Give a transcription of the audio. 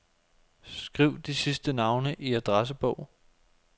Skriv de sidste navne i adressebog.